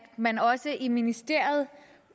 man også i ministeriet